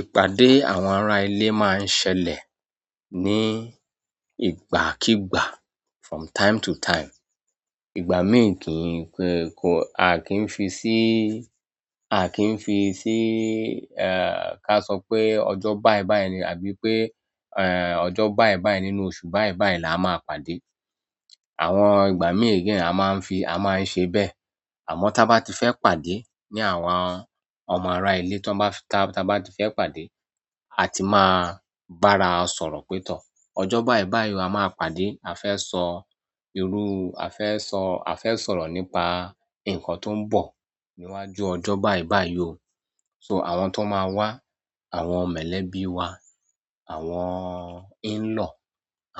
Ìpàdé àwọn ará ilé máa ń ṣẹlẹ̀ ní ìgbàkígbà from time to time. Ìgbà míì kì í pẹ kó, a kì í fi síí, a kì í fi síí, eh, ká sọ pé ọjọ́ báì báì ni àbí pé, eh, ọjọ́ báì báì nínú oṣù báì báì la máa pàdé. Àwọn ìgbà míì again a máa ń fi, a máa ń ṣe bẹ́ẹ̀. Àmọ́ tí a bá ti fẹ́ pàdé ní àwọn ọmọ ará ilé tí wọ́n bá ti, tí a bá ti fẹ́ pàdé, a ti máa bára sọ̀rọ̀ pé tọ̀. Ọjọ́ báì báì o a máa pàdé, a fẹ́ sọ irú, a fẹ́ sọ, a fẹ́ sọ̀rọ̀ nípa nǹkan tó ń bọ̀ níwájú ọjọ́ báì báì yí o. So àwọn tó máa wá, àwọn mọ̀lẹ́bí wa, àwọn in-law,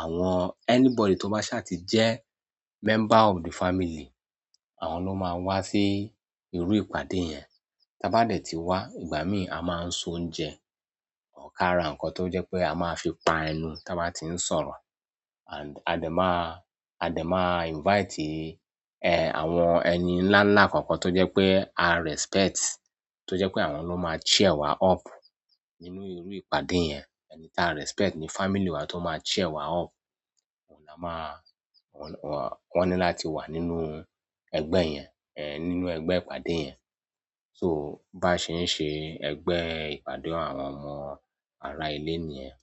àwọn anybody tó bá ṣà ti jẹ́ member of the family, àwọn ló máa wá sí irú ìpàdé yẹn. Tí a bá dẹ̀ ti wá, ìgbà míì a máa ń se oúnjẹ, or kára nǹkan tó jẹ́ pé a máa fi pa ẹnu tí a bá ti ń sọ̀rọ̀. And a dẹ̀ máa, a dẹ̀ máa invite, eh, àwọn ẹni ńlá ńlá kọ̀ọ̀kan tó jẹ́ pé a respect, tó jẹ́ pé àwọn ló máa cheer wa up nínú irú ìpàdé yẹn. Ẹni táa respect ní family wa tó máa cheer wa up, òun la máa, wọ́n, wọ́n ní láti wà nínú ẹgbẹ́ yẹn, eh, nínú ẹgbẹ́ ìpàdé yẹn. So bá ṣe ń ṣe ẹgbẹ́ ìpàdé àwọn ọmọ ará ilé ni yẹn.